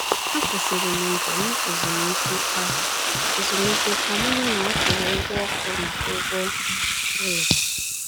Akwụsịrị m njem ezumike ka ezumike ka m hụ na a kwụrụ ụgwọ ọkụ na ụgwọ ụlọ.